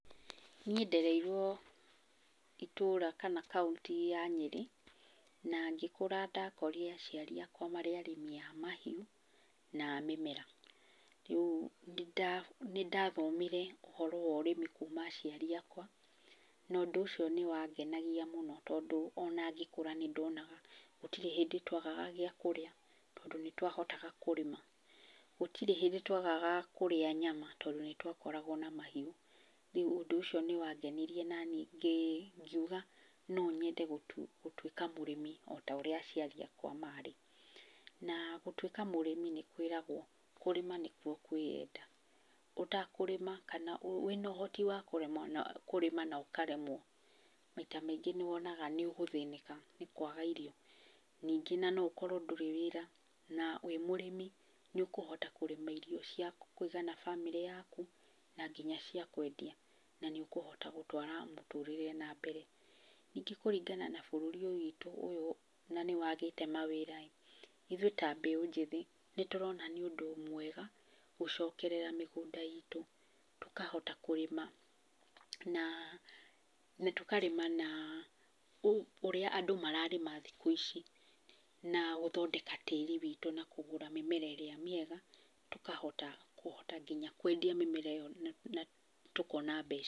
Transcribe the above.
Niĩ ndereirwo itũũra kana kaũntĩ ya Nyerĩ, na ngĩkũra ndakorire aciari akwa marĩ arĩmi a mahiũ, na a mĩmera. Rĩu nĩ ndathomire ũhoro wa ũrĩmi kuma aciari akwa na ũndũ ũcio nĩ wangenagia mũno tondũ ona ngĩkũra nĩ ndonaga gũtirĩ hĩndĩ twagaga gĩa kũrĩa, tondũ nĩ twahotaga kũrĩma. Gũtirĩ hĩndĩ twagaga kũrĩa nyama tondũ nĩ twakoragwo na mahiũ. Rĩu ũndũ ũcio nĩ wangenirie naniĩ ngiuga no nyende gũtuĩka mũrĩmi ota ũrĩa aciari akwa marĩ. Na gũtuĩka mũrĩmi nĩ kwĩragwo, kũrĩma nĩkuo kwĩenda. Ũtakũrĩma kana wĩna ũhooti wa kũrĩma na ũkaremwo, maita maingĩ nĩ wonaga nĩ ũgũthĩnĩka nĩ kwaga irio. Ningĩ na no ũkorwo ndũrĩ wĩra, na wĩ mũrĩmi nĩ ũkũhota kũrĩma irio cia kũigana bamĩrĩ yaku na nginya cia kwendia. Na nĩ ũkũhota gũtwara mũtũrĩre na mbere. Ningĩ kũringana na bũrũri witũ ũyũ na nĩ wagĩte mawĩra ĩ, ithuĩ ta mbeũ njĩthĩ nĩ tũrona nĩ ũndũ mwega gũcokerera mĩgũnda itũ tũkahota kũrĩma. Na, tũkarĩma na ũrĩa andũ mararĩma thikũ ici na gũthondeka tĩĩri witũ na tũkagũra mĩmera ĩrĩa mĩega. Tũkahota kũhota nginya kwendia mĩmera ĩyo tũkona mbeca.